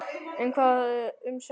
En hvað um svefn?